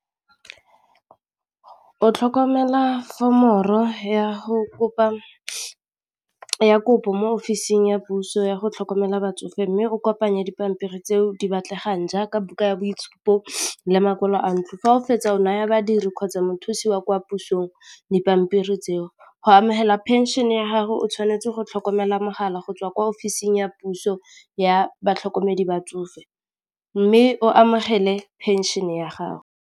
O tlhokomela fomoro ya go kopa ya kopo mo ofising ya puso yago tlhokomela batsofe mme o kopanya dipampiri tseo di batlegang, jaaka buka ya boitshupo le makwalo a ntlo fa o fetsa o naya badiri kgotsa mothusi wa kwa pusong dipampiri tseo go amogela phenšene ya gago o tshwanetse go tlhokomela mogala go tswa kwa ofising ya puso ya batlhokomedi ba tsofe mme o amogele phenšene ya gago.